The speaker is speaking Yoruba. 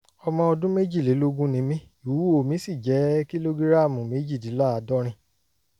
ọmọ ọdún méjìlélógójì ni mí ìwúwo mi sì jẹ́ kìlógíráàmù méjìdínláàádọ́rin